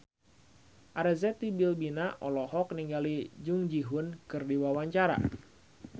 Arzetti Bilbina olohok ningali Jung Ji Hoon keur diwawancara